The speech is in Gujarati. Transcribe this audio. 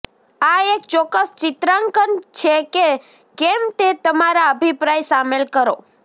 આ એક ચોક્કસ ચિત્રાંકન છે કે કેમ તે તમારા અભિપ્રાય શામેલ કરો